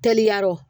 Teliya yɔrɔ